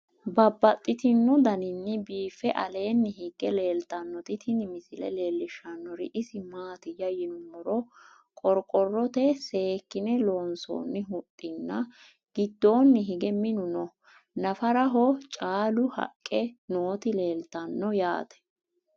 Babaxxittinno daninni biiffe aleenni hige leelittannotti tinni misile lelishshanori isi maattiya yinummoro qoriqorotte seekkinne loonsoonni huxxi nna giddonni hige minu noo. Naffaraho caallu haqqe nootti leelittanno yaatte